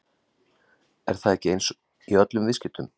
Er það ekki eins í öllum viðskiptum?